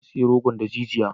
Na sayi rogon daji jiya.